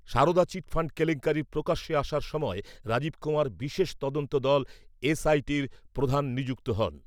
Sarada chit fund কেলেঙ্কারি প্রকাশ্যে আসার সময় রাজীব কুমার বিশেষ তদন্ত দল এসআইটির প্রধান নিযুক্ত হন।